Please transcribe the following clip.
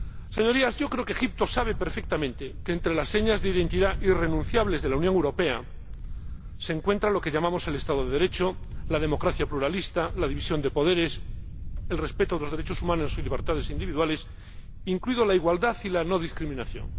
Señorías, creo que Egipto sabe perfectamente que entre las señas de identidad irrenunciables de la Unión Europea se encuentran lo que llamamos el Estado de Derecho, la democracia pluralista, la división de poderes y el respeto de los derechos humanos y libertades individuales, incluidas la igualdad y la no discriminación.